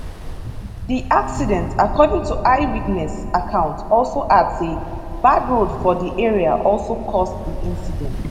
di accident according to eyewitness accounts also add say bad road for di area also cause di incident